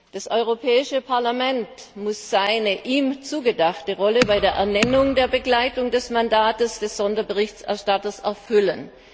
Das Europäische Parlament muss die ihm zugedachte Rolle bei der Ernennung der Begleitung des Mandats des Sonderberichterstatters erfüllen.